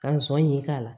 Ka sɔn ɲi k'a la